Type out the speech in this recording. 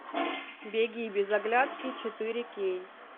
беги без оглядки четыре кей